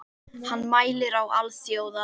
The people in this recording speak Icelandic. Hann mælir á alþjóða